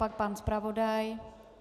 Pak pan zpravodaj?